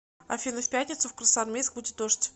афина в пятницу в красноармейск будет дождь